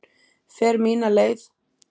Fer mína leið.